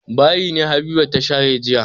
Bayi ne Habiba ta share jiya.